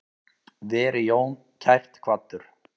Veri Jón kært kvaddur.